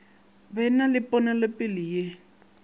ba na le ponelopele ye